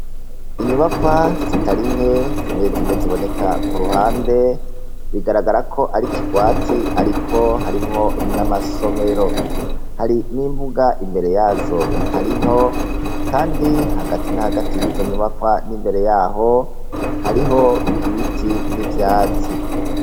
Inyubakwa zitarinke zimwe zimwe ziboneka ku ruhande bigaragara ko ari kigwati ariko harimwo n'amasomero hari n'imbuga imbere yazo itari nto kandi hagati na hagati y'izo nyubakwa n'imbere yaho hariho ibiti n'ivyatsi.